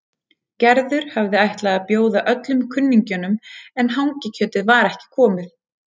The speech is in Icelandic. Gerður hafði ætlað að bjóða öllum kunningjunum en hangikjötið var ekki komið.